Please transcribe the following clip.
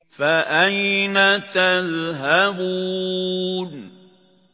فَأَيْنَ تَذْهَبُونَ